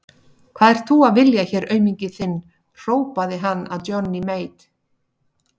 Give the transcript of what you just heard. Hvað ert þú að vilja hér auminginn þinn, hrópaði hann að Johnny Mate.